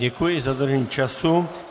Děkuji za dodržení času.